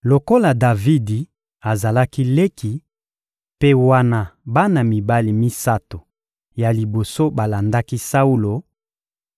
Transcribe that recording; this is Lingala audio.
Lokola Davidi azalaki leki, mpe wana bana mibali misato ya liboso balandaki Saulo,